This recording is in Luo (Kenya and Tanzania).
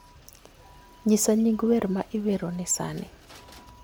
Nyisa nying wer ma iweroni sani